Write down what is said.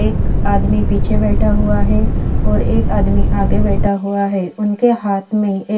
एक आदमी पीछे बहा हुआ है एक आदमी आगे बेठा हुआ है उनके हाथ में एक--